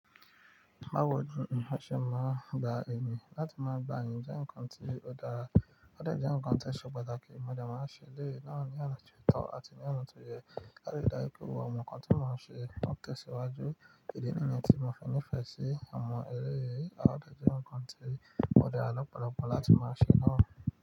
Bawo ni eeyan ṣe máa ń gba iyin láti máa gba iyìn jẹ́ ǹkan tí ó dára, ó dà jẹ́ ǹkan tí ẹ ṣe pàtàkì mo dẹ̀ máa ṣe eleyi náà ní ona ti ótọ́ àti ní ona ti ò yẹ́. Láti ri dáju pé gbogbo ǹkan tí mọ n ṣe ń tẹ̀síwájú ìdí níyen tí mo fi nífẹ̀ẹ́ sí awon ẹre, a dà jẹ́ ǹkan tí o dara lopọ̀lọ̀pọ̀ láti máa ṣe náà.